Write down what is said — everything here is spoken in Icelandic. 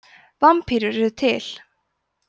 vampírur eru til